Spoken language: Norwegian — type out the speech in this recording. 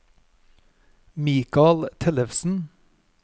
Mikal Tellefsen